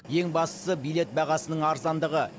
ең бастысы билет бағасының арзандығы